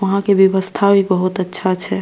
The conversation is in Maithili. वहां के व्यवस्था भी बहुत अच्छा छै।